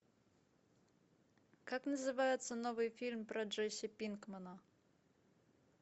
как называется новый фильм про джесси пинкмана